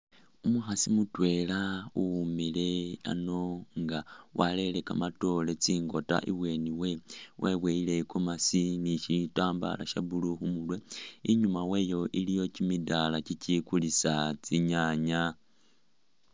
Umukhaasi mutwela uwumile ano nga warere kamatoore tsingota ibweni we , weboyile igomeesi ni shitambala sha blue khumurwe, inyuma wayo iliyo kyimidala kyikyi kulisa tsi nyaaya.